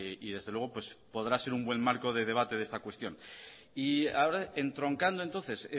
y desde luego podrá ser un buen marco de debate de esta cuestión y ahora entroncando entonces